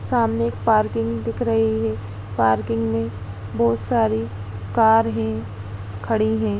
सामने एक पार्किंग दिख रही है। पार्किंग में बहोत सारी कार हैंखड़ी हैं।